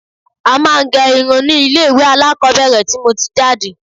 A máa ń gẹ irun ni ilé ilé ìwé alákọ́bẹ̀rẹ̀ tí mo ti jáde